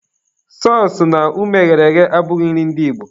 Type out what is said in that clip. Sọọsụ na ụmụ eghere eghe abụghị nri ndị Igbo.